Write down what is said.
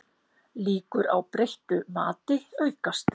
Líkur á breyttu mati aukast